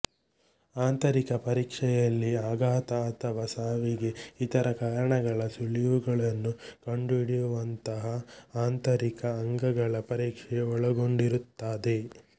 ಆಂತರಿಕ ಪರೀಕ್ಷೆಯಲ್ಲಿ ಅಘಾತ ಅಥವಾ ಸಾವಿಗೆ ಇತರ ಕಾರಣಗಳ ಸುಳಿವುಗಳನ್ನು ಕಂಡುಹಿಡಿಯುವಂತಹ ಆಂತರಿಕ ಅಂಗಗಳ ಪರೀಕ್ಷೆ ಒಳಗೊಂಡಿರುತ್ತದೆ